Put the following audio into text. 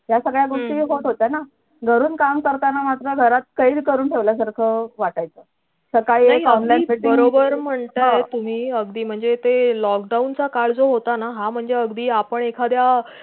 या सगळ्या गोष्टी होत होत्या ना घरून काम करताना मात्र घरात काही करून ठेवल्यासारखं वाटायचं सकाळी बरोबर म्हणताय अगदी तु का lockdown काळ जो होता ना हा म्हणजे अखदी एखादया